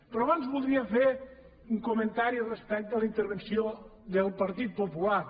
però abans voldria fer un comentari respecte a la intervenció del partit popular